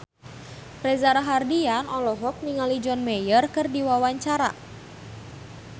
Reza Rahardian olohok ningali John Mayer keur diwawancara